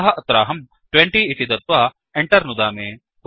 अतः अत्राहं 20 इति दत्वा Enter नुदामि